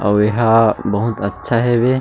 अउ एहा बहुत अच्छा हेवे--